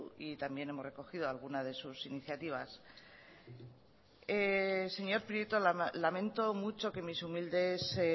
y también hemos recogido algunas de sus iniciativas señor prieto lamento mucho que mis humildes